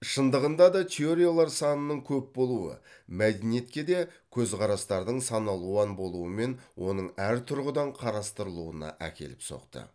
шындығында да теориялар санының көп болуы мәдениетке де көзқарастардың саналуан болуымен оның әр тұрғыдан қарастырылуына әкеліп соқты